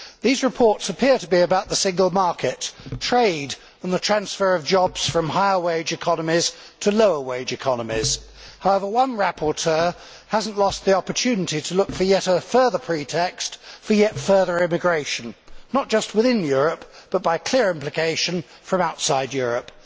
These reports appear to be about the Single Market, trade and the transfer of jobs from higher wage economies to lower wage economies. However, one rapporteur has not lost the opportunity to look for yet another pretext for yet further immigration not just within Europe, but by clear implication from outside Europe.